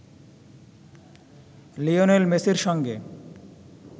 Lionel মেসির সঙ্গে